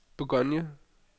Bourgogne